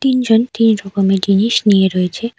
তিনজন তিন রকমের জিনিস নিয়ে রয়েছে।